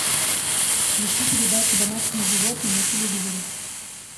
включи передачу домашние животные на телевизоре